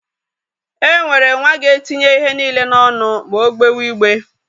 E nwere nwa ga-etinye ihe niile n'onụ ma ọ gbewe igbe.